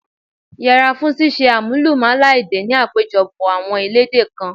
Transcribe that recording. Yẹra fún ṣíṣe àmúlùmálà èdè ni àpéjọpọ̀ àwọn elédè kan.